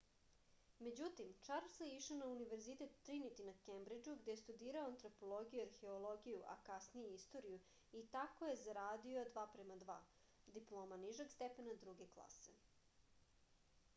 међутим чарлс је ишао на универзитет тринити на кембриџу где је студирао антропологију и археологију а касније и историју и тако је зарадио 2:2 диплома нижег степена друге класе